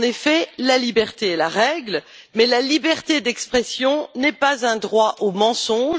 En effet, la liberté est la règle, mais la liberté d'expression n'est pas un droit au mensonge.